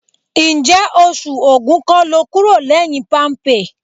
Ǹjẹ́ oṣù Ògún kọ́ lo kúrò lẹ́yìn Palmpay?